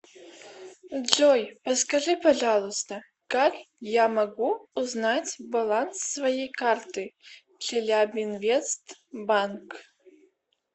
джой подскажи пожалуйста как я могу узнать баланс своей карты челябинвест банк